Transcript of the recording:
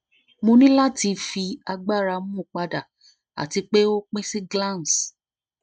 mo ni lati fi agbara mu pada ati pe o pin si glans